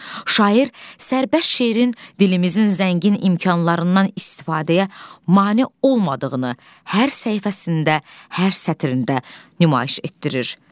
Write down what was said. Şair sərbəst şeirin dilimizin zəngin imkanlarından istifadəyə mane olmadığını hər səhifəsində, hər sətrində nümayiş etdirir.